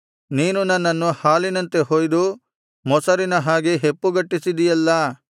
ನೀನು ನನ್ನನ್ನು ಹಾಲಿನಂತೆ ಹೊಯ್ದು ಮೊಸರಿನ ಹಾಗೆ ಹೆಪ್ಪುಗಟ್ಟಿಸಿದಿಯಲ್ಲಾ